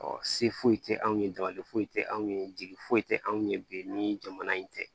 se foyi tɛ anw ye dabali foyi tɛ anw ye jigi foyi tɛ anw ye bi ni jamana in tɛ